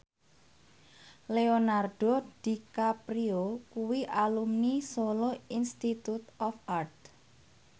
Leonardo DiCaprio kuwi alumni Solo Institute of Art